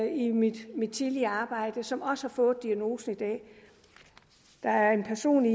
i mit tidligere arbejde som også har fået diagnosen i dag der er en person i